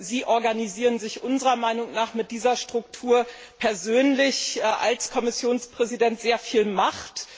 Sie organisieren sich unserer Meinung nach mit dieser Struktur persönlich als Kommissionspräsident mit sehr viel Macht.